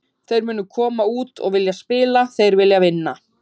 Þeir munu koma út og vilja spila, þeir vilja vinna.